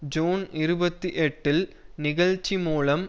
June இருபத்தி எட்டில் நிகழ்ச்சி மூலம்